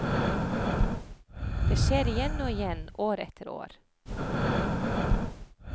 Det skjer igjen og igjen, år etter år.